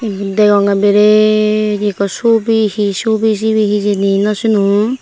iyot degongey biret ekko sobi he sobi sibey hejani naw sinong.